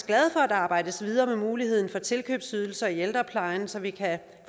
glade for at der arbejdes videre med muligheden for tilkøbsydelser i ældreplejen så vi kan